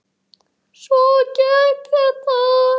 Svona gekk þetta.